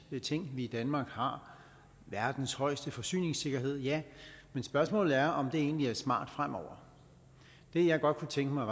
ting vi i danmark har verdens højeste forsyningssikkerhed ja men spørgsmålet er om det egentlig er smart fremover det jeg godt kunne tænke mig